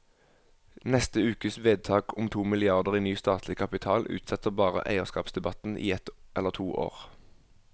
Neste ukes vedtak om to milliarder i ny statlig kapital utsetter bare eierskapsdebatten i ett eller to år.